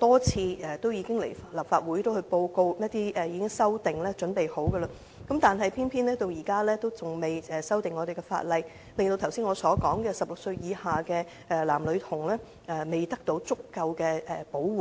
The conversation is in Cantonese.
多次向立法會報告有關修訂已準備就緒，但偏偏現在仍未修例，令我剛才提到16歲以下的男女童未獲足夠的保護。